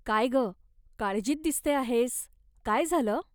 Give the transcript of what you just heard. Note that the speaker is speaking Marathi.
काय गं, काळजीत दिसते आहेस, काय झालं?